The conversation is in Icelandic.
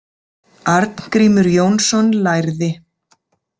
Arngrímur Jónsson lærði.